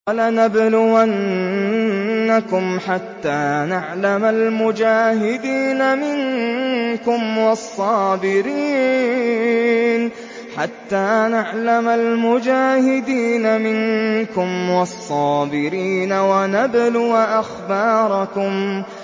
وَلَنَبْلُوَنَّكُمْ حَتَّىٰ نَعْلَمَ الْمُجَاهِدِينَ مِنكُمْ وَالصَّابِرِينَ وَنَبْلُوَ أَخْبَارَكُمْ